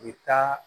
U bɛ taa